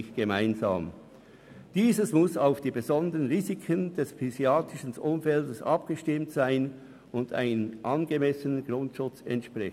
Dieses muss auf die besonderen Risiken des psychiatrischen Umfeldes abgestimmt sein und einem angemessenen Grundschutz entsprechen.